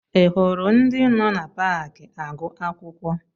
Ị hụrụ ndị nọ na paakị agụ akwụkwọ?